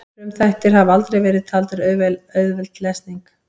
frumþættir hafa aldrei verið taldir auðveld lesning